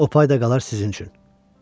O pay da qalar sizin.